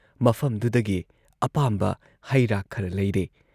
ꯃꯐꯝꯗꯨꯨꯗꯒꯤ ꯑꯄꯥꯝꯕ ꯍꯩ ꯔꯥ ꯈꯔ ꯂꯩꯔꯦ ꯫